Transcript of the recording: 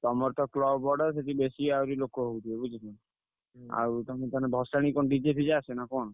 ତମରତ club ବଡ ସେଠି ବେଶୀ ଆହୁରି ଲୋକ ହଉଥିବ ବୁଝିଲ। ଆଉ ତମେ ତାହେଲେ ଭସାଣି କଣ DJ ଫିଜେ ଆସେ ନା କଣ?